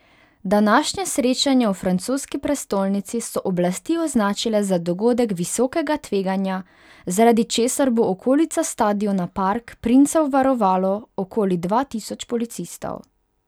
Današnje srečanje v francoski prestolnici so oblasti označile za dogodek visokega tveganja, zaradi česar bo okolico stadiona Park princev varovalo okoli dva tisoč policistov.